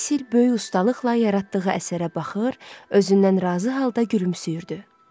Basil böyük ustalıqla yaratdığı əsərə baxır, özündən razı halda gülümsəyirdi.